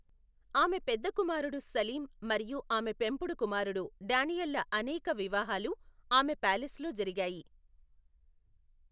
ఆమె పెద్ద కుమారుడు సలీం మరియు ఆమె పెంపుడు కుమారుడు డానియల్ల అనేక వివాహాలు ఆమె ప్యాలెస్లో జరిగాయి.